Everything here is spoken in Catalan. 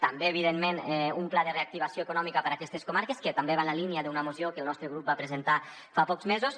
també evidentment un pla de reactivació econòmica per a aquestes comarques que també va en la línia d’una moció que el nostre grup va presentar fa pocs mesos